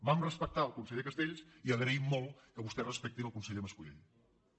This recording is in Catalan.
vam respectar el conseller castells i agraïm molt que vostè respecti el conseller mas·co·lell